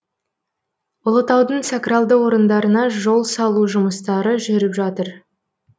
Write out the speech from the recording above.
ұлытаудың сакралды орындарына жол салу жұмыстары жүріп жатыр